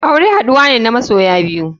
Aure haduwa ne na masoya biyu.